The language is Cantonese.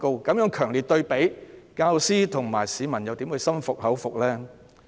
在這強烈對比下，教師和市民又怎會感到心服口服呢？